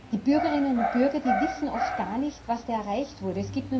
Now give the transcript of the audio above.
Die Bürgerinnen und Bürger wissen oft gar nicht, was da erreicht wurde.